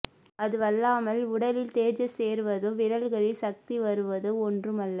அதுவல்லாமல் உடலில் தேஜஸ் ஏறுவதோ விரல்களில் சக்தி வருவதோ ஒன்றும் அல்ல